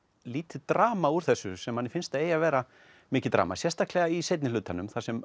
lítið drama úr þessu sem manni finnst að eigi að vera mikið drama sérstaklega í seinni hlutanum þar sem